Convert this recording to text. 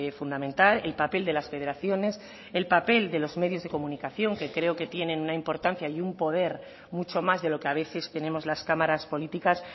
fundamental el papel de las federaciones el papel de los medios de comunicación que creo que tienen una importancia y un poder mucho más de lo que a veces tenemos las cámaras políticas